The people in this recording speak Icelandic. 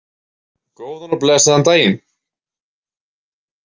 Góðan og blessaðan daginn!